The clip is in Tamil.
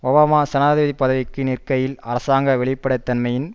ஒபாமா ஜனாதிபதி பதவிக்கு நிற்கையில் அரசாங்க வெளிப்படை தன்மையின்